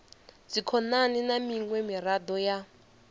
dzikhonani na miṅwe miraḓo ya